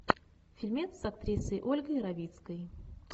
фильмец с актрисой ольгой равицкой